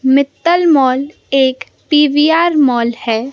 Mittal mall एक PVR mall है।